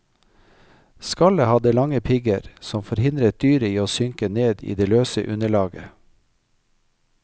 Skallet hadde lange pigger som forhindret dyret i å synke ned i det løse underlaget.